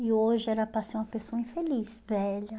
E hoje era para ser uma pessoa infeliz, velha.